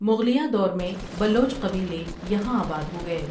مغلیہ دور میں بلوچ قبیلے یہاں آباد ہو گئے ۔